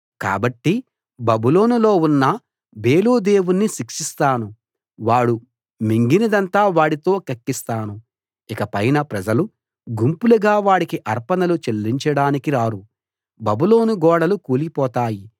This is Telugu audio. కాబట్టి బబులోనులో ఉన్న బేలు దేవుణ్ణి శిక్షిస్తాను వాడు మింగినదంతా వాడితో కక్కిస్తాను ఇకపైన ప్రజలు గుంపులుగా వాడికి అర్పణలు చెల్లించడానికి రారు బబులోను గోడలు కూలిపోతాయి